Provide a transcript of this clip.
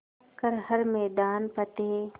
कर हर मैदान फ़तेह